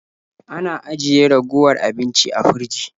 Ana ajiye ragowar abinci a firji.